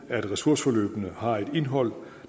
at ressourceforløbene har et indhold